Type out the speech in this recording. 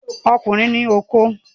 Ọkùnrin ní okó.